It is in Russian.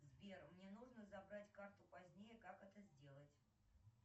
сбер мне нужно забрать карту позднее как это сделать